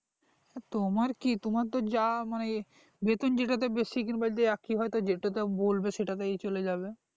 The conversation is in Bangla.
তোমার কি তোমার তো যা মানে বেতন যেটা তে বেশি কিম্বা যে একই হয় যেটো তে বলবে সেটা তেই চলে যাবে